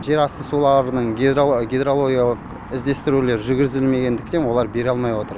жерасты суларының гидрологиялық іздестірулері жүргізілмегендіктен олар бере алмай отыр